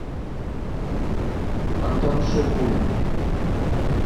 антон шипулин